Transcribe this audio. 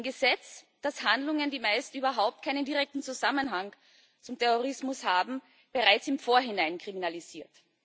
Ein Gesetz, das Handlungen, die meist überhaupt keinen direkten Zusammenhang mit dem Terrorismus haben, bereits im Vorhinein kriminalisiert.